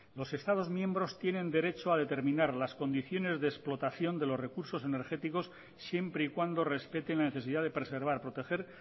los estados miembros tienen derecho a determinar las condiciones de explotación de los recursos energéticos siempre y cuando respeten la necesidad de preservar proteger